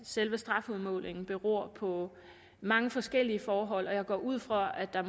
selve strafudmålingen beror på mange forskellige forhold og jeg går ud fra at der